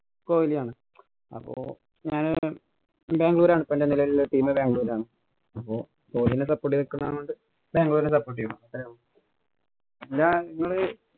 കൊഹിലിയാണ്. അപ്പൊ ഞാന് ബാംഗ്ലൂര്‍ ആണ്. എന്‍റെ നെലവിലെ team ബാംഗ്ലൂരാണ്. അപ്പൊ കൊഹിലീനെ support ചെയ്തു നിക്കുന്നതായോണ്ട് ബാംഗ്ലൂരിനെ support ചെയ്യും. അത്രേയുള്ളൂ. എന്താ നിങ്ങള്